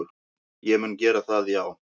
Ég mun gera það já,